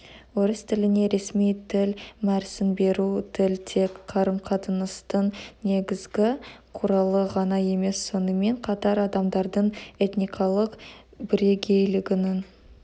орыс тіліне ресми тіл мәр сін беру тіл тек қарым-қатынастың негізгі құралы ғана емес сонымен қатар адамдардың этникалық бірегейлігінің